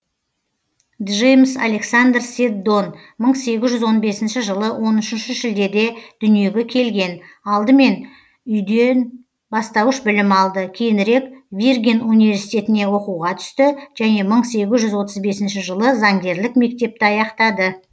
джеймс александр седдон мың сегіз жүз он бесінші жылы он үшінші шілдеде дүниеге келген алдымен үйден бастауыш білім алды кейінірек виргин университетіне оқуға түсті және мың сегіз жүз отыс бесінші жылы заңгерлік мектепті аяқтады